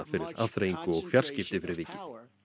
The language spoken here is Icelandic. fyrir afþreyingu og fjarskipti fyrir vikið